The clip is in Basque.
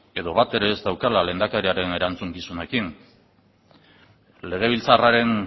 edo bat ere ez daukagula lehendakariaren erantzukizunekin legebiltzarraren